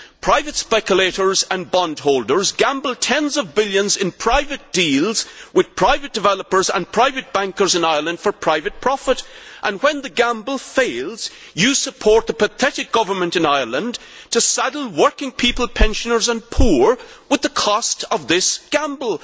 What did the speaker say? Private speculators and bondholders gamble tens of billions in private deals with private developers and private bankers in Ireland for private profit, and when the gamble fails, you support the pathetic government in Ireland to saddle working people, pensioners and the poor with the cost of this gamble.